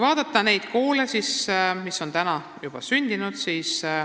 Vaatame neid koole, mis on tänaseks juba sündinud.